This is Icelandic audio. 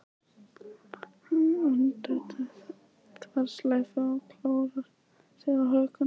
Hagræðir röndóttri þverslaufu og klórar sér á hökunni.